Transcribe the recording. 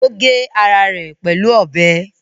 Ó gé ara rẹ̀ pẹ̀lú ọbẹ̀?